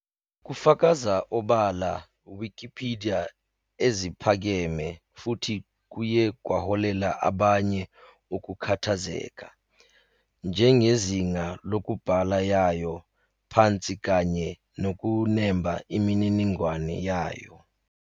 Kufakaza obala Wikipidiya eziphakeme futhi kuye kwaholela abanye ukukhathazeka, njenge izinga lokubhala yayo, phansi kanye nokunemba imininingwane yayo.